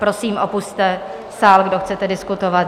Prosím, opusťte sál, kdo chcete diskutovat.